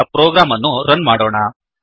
ಈಗ ಪ್ರೋಗ್ರಾಮ್ ಅನ್ನು ರನ್ ಮಾಡೋಣ